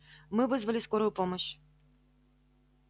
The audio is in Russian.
мы вызвали скорую помощь